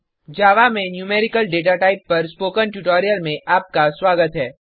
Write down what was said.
जावा में numerical data type पर spoken tutorial में आपका स्वागत है